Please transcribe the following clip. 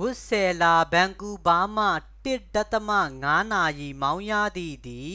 ဝစ်ဆဲလာ ဗန်ကူးဗားမှ ၁.၅ နာရီ မောင်းရသည် သည်